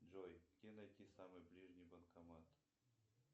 джой где найти самый ближний банкомат